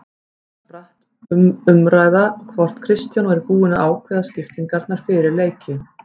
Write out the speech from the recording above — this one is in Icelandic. Þar spratt um umræða hvort Kristján væri búinn að ákveða skiptingarnar fyrir leiki.